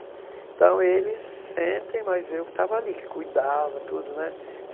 Então eles sentem, mas eu que estava ali, que cuidava, tudo, né?